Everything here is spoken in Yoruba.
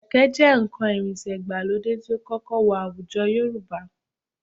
Kẹ̀ké ni nǹkan ìrìnsẹ̀ ìgbàlódé tí ó kọ́kọ́ wọ àwùjọ Yorùbá